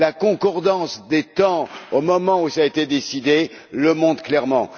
La concordance des temps, au moment où cela a été décidé, le montre clairement.